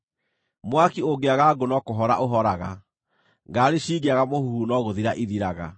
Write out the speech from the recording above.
Mwaki ũngĩaga ngũ no kũhora ũhoraga; ngarari cingĩaga mũhuhu no gũthira ithiraga.